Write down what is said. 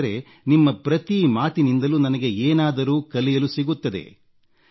ಏಕೆಂದರೆ ನಿಮ್ಮ ಪ್ರತಿ ಮಾತಿನಿಂದಲೂ ನನಗೆ ಏನಾದರೂ ಕಲಿಯಲು ಸಿಗುತ್ತದೆ